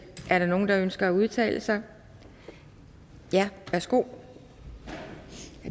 er der nogen der ønsker at udtale sig ja værsgo herre